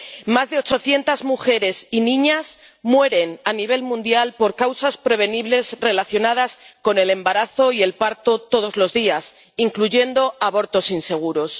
Más de 800 mujeres y niñas mueren a nivel mundial por causas prevenibles relacionadas con el embarazo y el parto todos los días, incluyendo abortos inseguros.